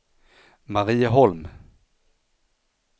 Marieholm